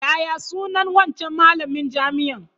Yaya sunan wancan malamin jami'an?